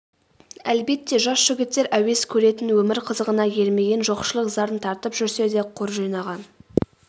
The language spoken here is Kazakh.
әлбетте жас жігіттер әуес көретін өмір қызығына ермеген жоқшылық зарын тартып жүрсе де қор жинаған